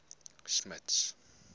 smuts